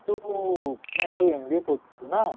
ତୁ ମାନେ ତୁ MBA କରୁଛୁ ନା?